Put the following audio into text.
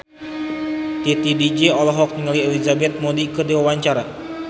Titi DJ olohok ningali Elizabeth Moody keur diwawancara